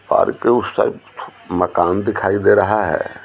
Park के उस side मकान दिखाई दे रहा है।